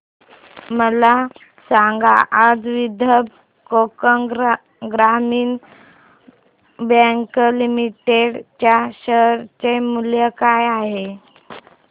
मला सांगा आज विदर्भ कोकण ग्रामीण बँक लिमिटेड च्या शेअर चे मूल्य काय आहे